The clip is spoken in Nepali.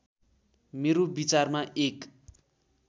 मेरो विचारमा एक